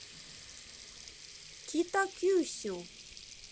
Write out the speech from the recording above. китакюсю